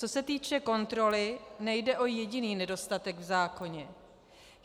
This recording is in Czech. Co se týče kontroly, nejde o jediný nedostatek v zákoně.